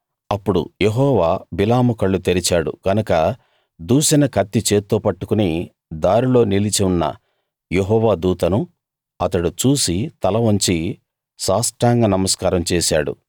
అప్పుడు యెహోవా బిలాము కళ్ళు తెరిచాడు గనక దూసిన కత్తి చేత్తో పట్టుకుని దారిలో నిలిచి ఉన్న యెహోవా దూతను అతడు చూసి తల వంచి సాష్టాంగ నమస్కారం చేశాడు